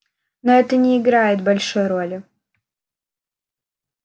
но это не играет большой роли